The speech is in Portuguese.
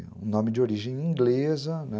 E um nome de origem inglesa, né?